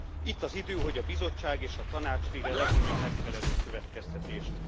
Itt az idő, hogy a Bizottság és a Tanács végre levonja a megfelelő következtetést.